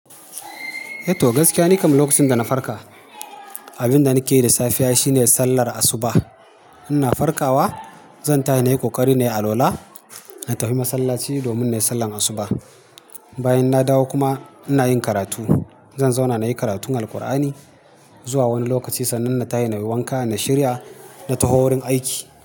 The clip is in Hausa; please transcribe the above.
Eto gaskiya, ni kam lokacin da na farka, abin da nake yi da safiya shine sallar asuba. Ina farkawa, zan tashi na yi ƙoƙari na yi alwala, na tafi masallaci domin na yi sallar asuba. Bayan na dawo kuma ina yin karatu. Zan zauna na yi karatun Alqur'ani zuwa wani lokaci sannan na tashi na yi wanka, na shirya, na tafi wurin aiki.